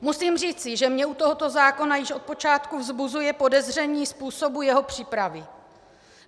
Musím říci, že mě u tohoto zákona již od počátku vzbuzuje podezření způsobu jeho přípravy.